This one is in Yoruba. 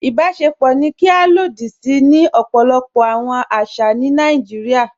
Ìbàṣẹ̀pọ̀ ni à ká sí ilòdì sí ni ọpọlọpọ̀ awọn àṣà ni Naijíríà.